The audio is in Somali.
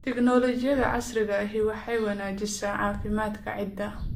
Tignoolajiyada casriga ahi waxay wanaajisaa caafimaadka ciidda.